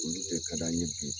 Olu de ka d'an ɲe bi